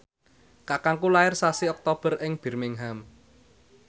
kakangku lair sasi Oktober ing Birmingham